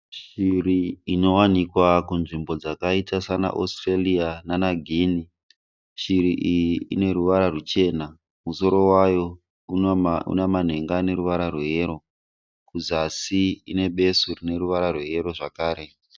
Shiri inowanikwa kunzvimbo dzakaita sena Australia nana Guinea. Shiri iyi ineruvara rwuchena. Musoro wayo inamanhenga aneruvara rweyero. Kuzasi inebesu rineruvara rweyero zvakare.